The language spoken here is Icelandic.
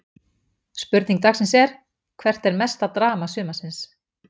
Spurning dagsins er: Hvert var mesta drama sumarsins?